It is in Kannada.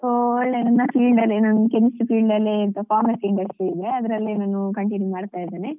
ಒಳ್ಳೆ ನನ್ನ field ಅಲ್ಲೇ ನನ್ chemistry field ಅಲ್ಲೆ ಎಂತ pharmacy in medicine ಅಲ್ಲಿ ನಾನು continue ಮಾಡ್ತಾ ಇದ್ದೇನೆ.